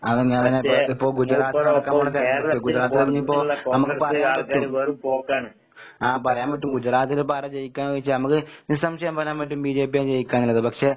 അതന്നെ അതന്നെ പ്രത്യേകിച്ചിപ്പോ ഗുജറാത്തടക്കം ഗുജറാത്താണെങ്കി ഇപ്പൊ നമ്മക്ക് പറയാൻ പറ്റും, ആഹ് പറയാൻ പറ്റും ഗുജറാത്തിലിപ്പാരാ ജയിക്കാന്ന് ചോയിച്ചാ നമക്ക് നിസംശയം പറയാൻ പറ്റും ബിജെപിയാ ജയിക്ക്കാന്നുള്ളത്. പക്ഷെ